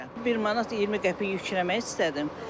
1 manat 20 qəpik yükləmək istədim.